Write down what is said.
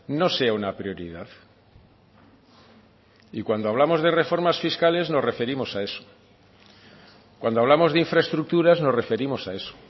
no sea una prioridad y cuando hablamos de reformas fiscales nos referimos a eso cuando hablamos de infraestructuras nos referimos a eso